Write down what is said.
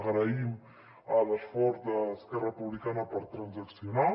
agraïm l’esforç d’esquerra republicana per transaccionar